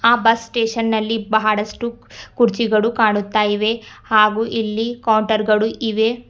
ಆ bus station ನಲ್ಲಿ ಬಹಳಷ್ಟು ಕುರ್ಚಿಗಳು ಕಾಣುತ್ತಾ ಇವೆ ಹಾಗೂ ಇಲ್ಲಿ ಕೌಂಟರ್ ಗಳು ಇವೆ.